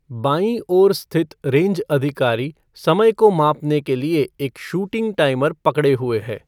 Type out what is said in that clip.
बाँई ओर स्थित रेंज अधिकारी समय को मापने के लिए एक शूटिंग टाइमर पकड़े हुए है।